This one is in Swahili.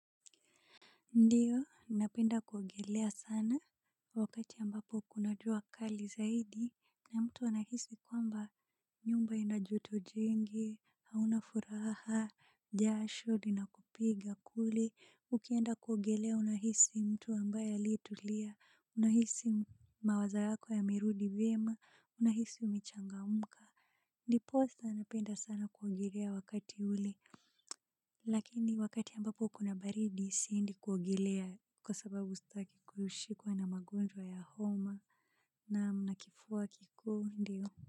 Ndio, napenda kuogelea sana, wakati ambapo kuna jua kali zaidi, na mtu anahisi kwamba nyumba ina joto jingi, hauna furaha, jasho linakupiga kule, ukienda kuogelea unahisi mtu ambaye aliyetulia, unahisi mawazo yako yamerudi vyema, unahisi umechangamka. Ndiposa napenda sana kuogelea wakati ule lakini wakati ambapo kuna baridi siendi kuogelea kwa sababu sitaki kushikwa na magonjwa ya homa naam na kifua kikuu ndio.